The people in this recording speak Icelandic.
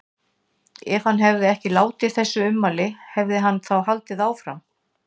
Ef hann hefði ekki látið þessi ummæli, hefði hann þá haldið áfram?